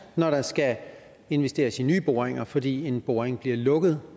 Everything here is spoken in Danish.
når der skal investeres i nye boringer fordi en boring bliver lukket